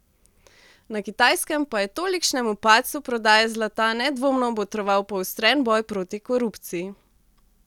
Na Kitajskem pa je tolikšnemu padcu prodaje zlata nedvomno botroval poostren boj proti korupciji.